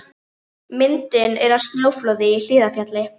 Myndin er af snjóflóði í Hlíðarfjalli.